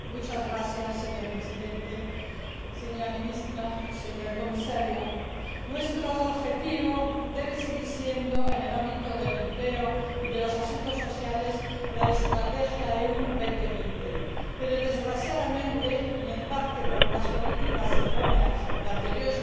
Señor Presidente, señora Ministra, señor Comisario, nuestro objetivo debe seguir siendo, en el ámbito del empleo y de los asuntos sociales, la Estrategia Europa 2020, pero desgraciadamente, y en parte por unas políticas erróneas de anteriores gobiernos,